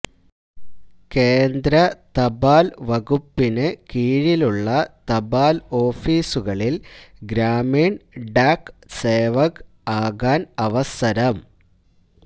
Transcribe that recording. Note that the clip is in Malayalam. കേന്ദ്ര തപാല് വകുപ്പിനു കീഴിലുള്ള തപാല് ഓഫീസുകളില് ഗ്രാമീണ് ഡാക് സേവക് ആകാന് അവസരം